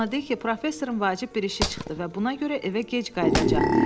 Ona de ki, professorun vacib bir işi çıxdı və buna görə evə gec qayıdacaq.